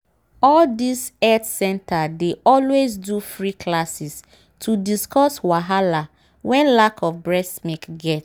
all these health center dey always do free classes to discuss wahala wen lack of breast milk get